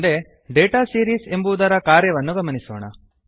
ಮುಂದೆ data series ಎಂಬುವುದರ ಕಾರ್ಯವನ್ನು ಗಮನಿಸೋಣ